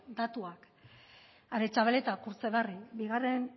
datuak aretxabaleta kurtzebarri bigarren